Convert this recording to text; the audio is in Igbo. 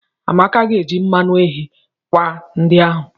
Amaka ga-eji mmanụ eghe akwa ndi ahụ.